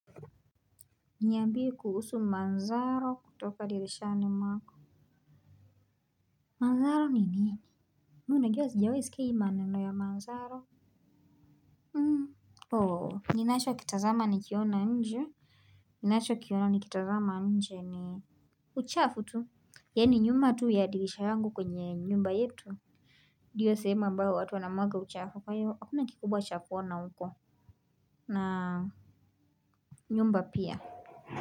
Niyambie kuhusu manzaro kutoka dirishani mwako. Manzaro nini? Muna giwa sijawe sikeyi manendo ya manzaro. Hmm. Oho ninasho kitazama nikiona njia. Ninasho kiona nikitazama njia ni uchafu tu? Yani nyuma tu ya dirisha yangu kwenye nyumba yetu? Ndiyo sehemu ambayo watu wanamwaga uchafu kwa hiyo hakuna kikubwa cha kuona huko. Na nyumba pia. Kwa hivyo.